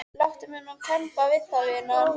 Láttu mig nú kemba það vinan.